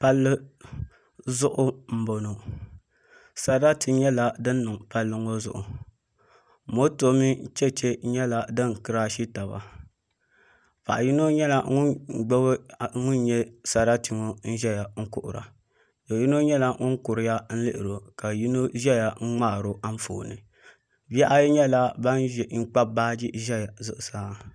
Palli zuɣu n boŋo sarati nyɛla din niŋ palli ŋo zuɣu moto mini chɛchɛ nyɛla din kirashi taba paɣa yino nyɛla ŋun gbubi ŋun nyɛ sarati ŋo n ʒɛya n kuhura do yino nyɛla ŋun kuriya n lihira ka yino nyɛ ŋun ŋmaariba Anfooni bihi ayi nyɛla bin kpabi tabi ʒɛya